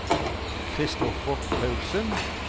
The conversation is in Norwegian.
Christoffer Paulsen